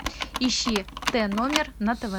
ищи т номер на тв